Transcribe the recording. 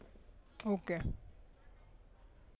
okay